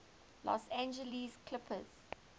los angeles clippers